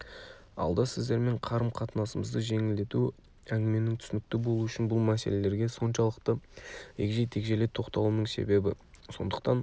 алда сіздермен қарым қатынасымызды жеңілдету әңгіменің түсінікті болуы үшін бұл мәселелерге соншалықты егжей-тегжейлі тоқталуымның себебі сондықтан